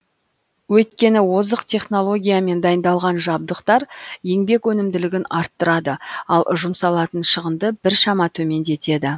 өйткені озық технологиямен дайындалған жабдықтар еңбек өнімділігін арттырады ал жұмсалатын шығынды біршама төмендетеді